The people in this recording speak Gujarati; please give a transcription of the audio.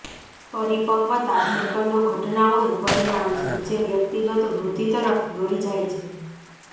પરિપક્વતા સેંકડો ઘટનાઓનું પરિણામ છે જે વ્યક્તિગત વૃદ્ધિ તરફ દોરી જાય છે